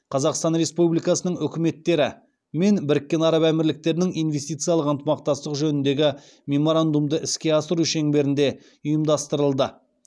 қазақстан республикасының үкіметтері мен біріккен араб әмірліктерінің инвестициялық ынтымақтастық жөніндегі меморандумды іске асыру шеңберінде ұйымдастырылды